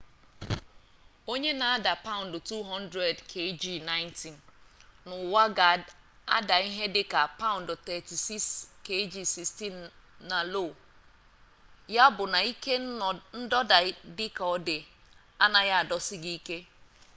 onye na-ada paụndụ 200 kg90 n'ụwa ga-ada ihe dịka paụndụ 36 kg16 na lo. ya bụ na ike ndọda dịka ọ dị anaghị adọsi gị ike